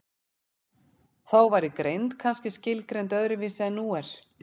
þá væri greind kannski skilgreind öðru vísi en nú er